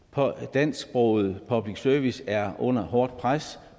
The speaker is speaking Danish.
dansksproget public service er under hårdt pres